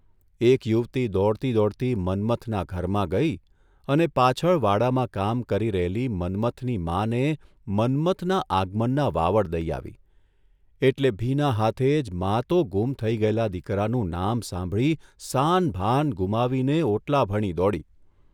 એક યુવતી દોડતી દોડતી મન્મથના ઘરમાં ગઇ અને પાછળ વાડામાં કામ કરી રહેલી મન્મથની માને મન્મથના આગમનના વાવડ દઇ આવી એટલે ભીના હાથે જ મા તો ગુમ થઇ ગયેલા દીકરાનું નામ સાંભળી સાન ભાન ગુમાવીને ઓટલા ભણી દોડી.